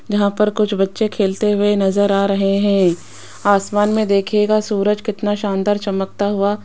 यहां पर कुछ बच्चे खेलते हुए नजर आ रहे हैं आसमान में देखियेगा सूरज कितना शानदार चमकता हुआ --